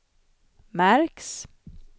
märks